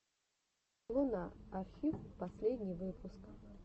луна архив последний выпуск